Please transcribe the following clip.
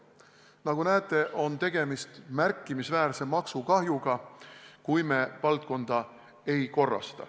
Nagu näete, on tegemist märkimisväärse maksukahjuga, kui me valdkonda ei korrasta.